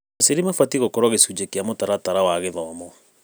Aciari mabatiĩ gũkorwo gĩcunjĩ kĩa mũtaratara wa gĩthomo.